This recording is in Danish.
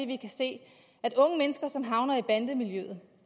vi kan se at unge mennesker som havner i bandemiljøet